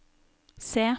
C